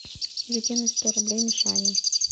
закинуть сто рублей мишане